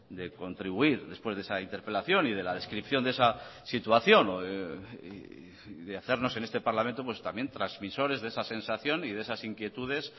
de contribuir después de esa interpelación y de la descripción de esa situación y de hacernos en este parlamento pues también transmisores de esa sensación y de esas inquietudes